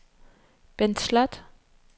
Bent Sloth